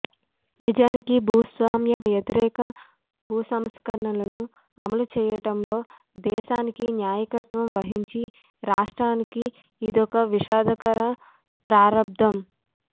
నిజానికి భూస్వామ్య వ్యతిరేక భూసంస్కరణ లను అమలు చేయటంలో దేశానికి నాయకత్వం వహించిన రాష్ట్రానికి ఇదొక విషాదకర ప్రారబ్ధం